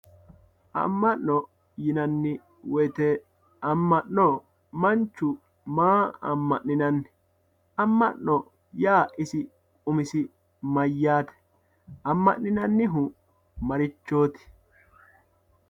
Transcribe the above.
aAma'no, ama'no yinanni woyte manchu maa ama'ninanni, ama'no yaa isi umisi mayyate ama'ninannihu marchoti ?